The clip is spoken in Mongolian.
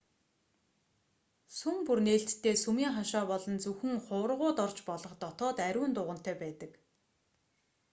сүм бүр нээлттэй сүмийн хашаа болон зөвхөн хуврагууд орж болох дотоод ариун дугантай байдаг